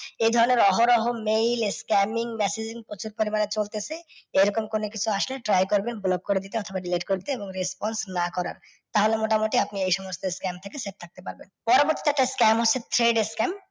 এই ধরণের অহরহ mail scamming messages প্রচুর পরিমাণে চলতেছে। এরকম কোনও কিছু আসলে try করবেন block করে দিতে অথবা delete করতে এবং response না করার। তাহলে মোটামুটি আপনি এই সমস্ত scam থেকে safe থাকতে পারবেন। পরবর্তী একটা scam হচ্ছে thread scam